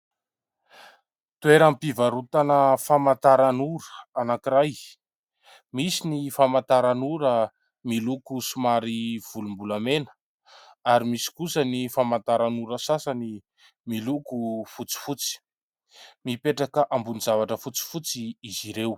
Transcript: Toeram-pivarotana famantaran'ora anankiray ; misy ny famantaran'ora miloko somary volombolamena, ary misy kosa ny famantaran'ora sasany miloko fotsifotsy. Mipetraka ambonin'ny zavatra fotsifotsy izy ireo.